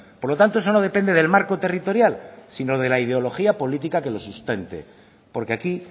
por lo tanto eso no depende del marco territorial sino de la ideología política que lo sustente porque aquí